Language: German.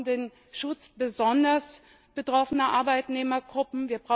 Wir brauchen den Schutz besonders betroffener Arbeitnehmergruppen.